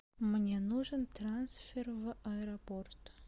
мне нужен трансфер в аэропорт